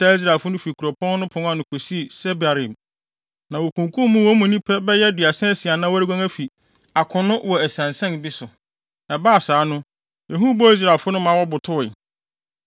taa Israelfo no fi kuropɔn no pon ano kosii Sebarim, na wokunkum wɔn mu nnipa bɛyɛ aduasa asia a na wɔreguan afi akono wɔ asiansian bi so. Ɛbaa saa no, ehu bɔɔ Israelfo no ma wɔbotowee.